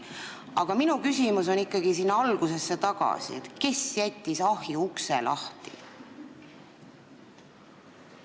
Aga minu küsimus läheb ikkagi algusesse tagasi: kes jättis ahjuukse lahti?